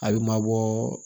A bɛ mabɔ